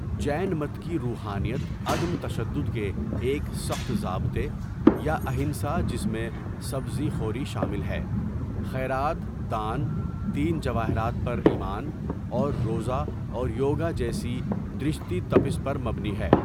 جین مت کی روحانیت عدم تشدد کے ایک سخت ضابطے، یا اہنسا جس میں سبزی خوری شامل ہے، خیرات دان، تین جواہرات پر ایمان، اور روزہ اور یوگا جیسی درشتی تپس پر مبنی ہے.